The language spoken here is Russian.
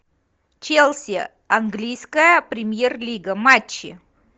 челси английская премьер лига матчи